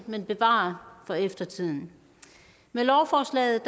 men bevare for eftertiden med lovforslaget